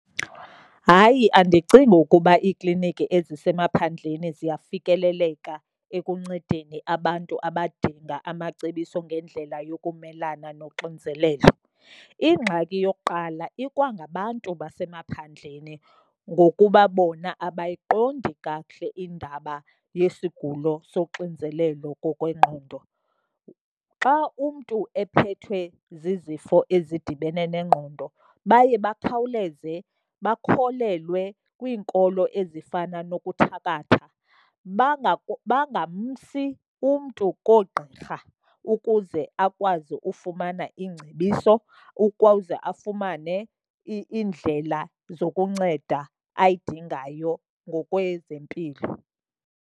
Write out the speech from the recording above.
Hayi, andicingi ukuba iikliniki ezisemaphandleni ziyafikeleleka ekuncedeni abantu abadinga amacebiso ngendlela yokumelana noxinzelelo. Ingxaki yokuqala ikwangabantu basemaphandleni, ngokuba bona abayiqondi kakuhle indaba yesigulo soxinzelelo ngokwengqondo. Xa umntu ephethwe zizifo ezidibene nengqondo baye bakhawuleze bakholelwe kwiinkolo ezifana nokuthakathwa bangamsi umntu koogqirha ukuze akwazi ufumana iingcebiso, ukuze afumane iindlela zokunceda ayidingayo ngokwezempilo.